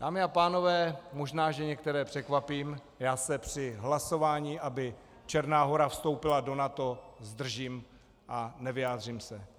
Dámy a pánové, možná, že některé překvapím, já se při hlasování, aby Černá Hora vstoupila do NATO, zdržím a nevyjádřím se.